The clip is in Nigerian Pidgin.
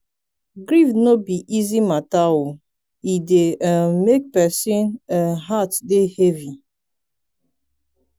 grief no be easy mata o e dey um make person um heart dey heavy.